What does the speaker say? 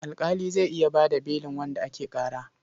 Alƙali zai iya ba da belin wanda ake ƙara.